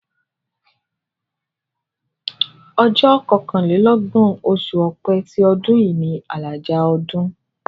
Ọjọ́ kọkànlélọ́gbọ̀n, oṣù Ọ̀pẹ ti ọdún yìí ni àlàjá ọdún.